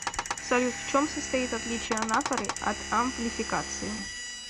салют в чем состоит отличие анафоры от амплификации